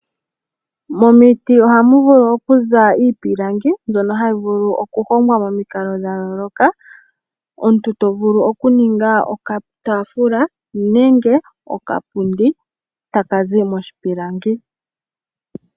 Momiti ohamu vulu okuza iipilangi, mbyono hayi vulu okuhongwa momikalo dha yooloka. Omuntu oto vulu okuninga okataafula nenge okapundi, taka zi moshipilangi.